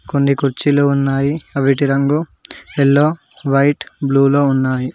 కొన్ని కుర్చీలు ఉన్నాయి అవిటి రంగు ఎల్లో వైట్ బ్లూ లో ఉన్నాయి.